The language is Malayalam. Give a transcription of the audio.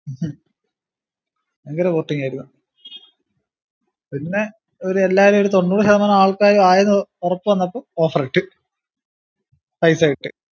ഹും ഭയങ്കര porting ആയിരുന്നു പിന്നെ ഒരുഎല്ലാരും ഒരു തൊണ്ണൂറു ശതമാനം ആൾക്കാരും ആയെന്ന് ഒറപ്പ് വന്നപ്പോ offer ഇട്ടു പൈസ ഇട്ടു